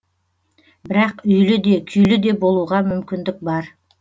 бірақ үйлі де күйлі де болуға мүмкіндік бар